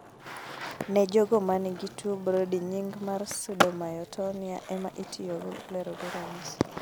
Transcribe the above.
Ne jogo manigi tuo Brody nying mar pseudomyotonia ema itiyo go lero ranyisi